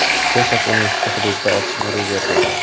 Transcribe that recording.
Texas universiteti hududida otishma ro‘y berdi.